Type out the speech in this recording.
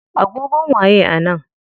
Agogon waye a nan?